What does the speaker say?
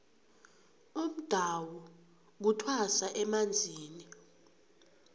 umdawu kuthwasa emanzini